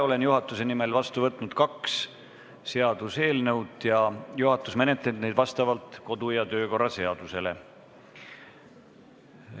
Olen juhatuse nimel vastu võtnud kaks seaduseelnõu ning juhatus menetleb neid vastavalt kodu- ja töökorra seadusele.